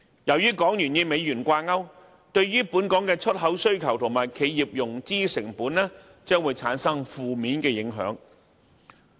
由於港元與美元掛鈎，將會對本港的出口需求和企業融資成本產生負面影響。